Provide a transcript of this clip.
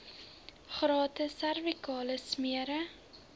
gratis servikale smere